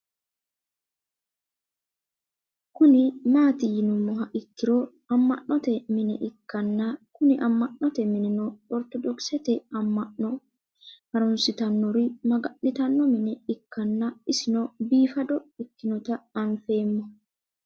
Kuni mati yinumoha ikiro ama'no te mine ikana Kuni ama'no minino ortodokisete ama'no harunsitanori magani'tano mine ikanna isino bifado ikinota anfemo